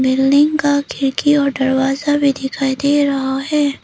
Building का खिड़की और दरवाजा भी दिखाई दे रहा है।